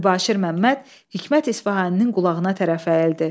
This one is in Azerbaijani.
Mübaşir Məmməd Hikmət İsfahaninin qulağına tərəf əyildi.